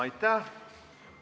Aitäh!